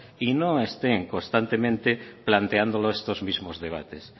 y no estén constantemente planteándolo estos mismos debate